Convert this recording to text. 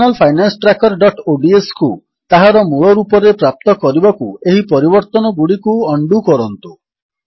Personal Finance Trackerodsକୁ ତାହାର ମୂଳ ରୂପରେ ପ୍ରାପ୍ତ କରିବାକୁ ଏହି ପରିବର୍ତ୍ତନଗୁଡ଼ିକୁ ଉଣ୍ଡୋ କରନ୍ତୁ